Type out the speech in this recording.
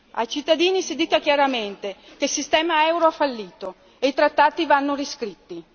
Ai cittadini si dica chiaramente che il sistema euro è fallito e i trattati vanno riscritti.